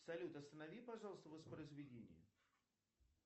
салют останови пожалуйста воспроизведение